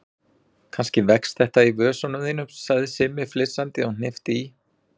Kannski vex þetta í vösunum þínum sagði Simmi flissandi og hnippti í